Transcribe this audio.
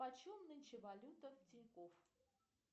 почем нынче валюта в тинькофф